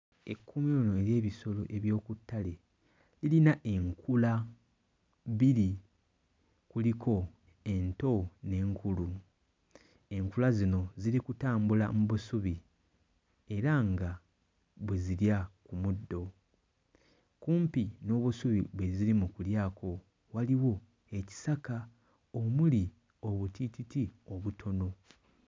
Ekkuumiro lino ery'ebisolo eby'oku ttale lirina enkula bbiri, kuliko ento n'enkulu. Enkula zino ziri kutambula mu busubi era nga bwe zirya ku muddo. Kumpi n'obusubi bwe ziri mu kulyako waliwo ekisaka omuli obutiititi obutono.